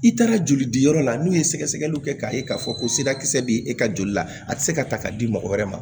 I taara joli diyɔrɔ la n'u ye sɛgɛsɛgɛliw kɛ k'a ye k'a fɔ ko sirakisɛ bɛ e ka joli la a tɛ se ka ta ka di mɔgɔ wɛrɛ ma